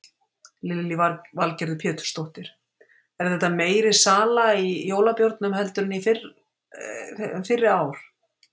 Lillý Valgerður Pétursdóttir: Er þetta meiri sala í jólabjórnum heldur en fyrri ár?